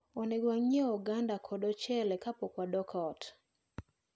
Onego wanyieu oganda kod ochele kapok wadok ot.